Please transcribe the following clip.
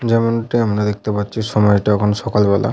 যেমনটি আমরা দেখতে পাচ্ছি সময়টা এখন সকালবেলা।